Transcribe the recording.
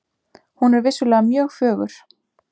Hún er vissulega mjög fögur.